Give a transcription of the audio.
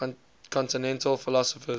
continental philosophers